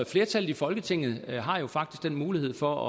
flertallet i folketinget har jo faktisk den mulighed for